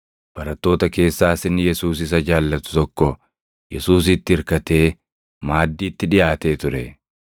Barattoota keessaas inni Yesuus isa jaallatu tokko Yesuusitti irkatee maaddiitti dhiʼaatee ture.